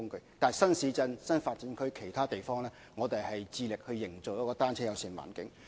但是，在新市鎮、新發展區或其他地方，我們致力營造"單車友善"環境。